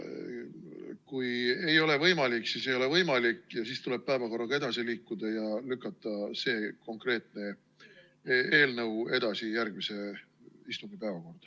Kui ei ole võimalik, siis ei ole võimalik ja siis tuleb päevakorraga edasi liikuda ja lükata see konkreetne eelnõu edasi järgmise istungi päevakorda.